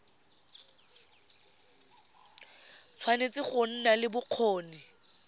tshwanetse go nna le bokgoni